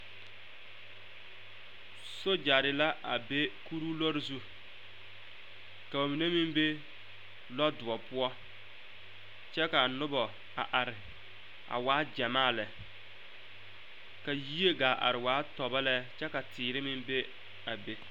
Soogyare la a be kuroo lɔɔre zu ka ba mine meŋ be lɔdoɔ poɔ kyɛ ka a nobɔ a are a waa gyamaa lɛ ka yie gaa are a waa tɔbɔ lɛ ka teere meŋ be a be.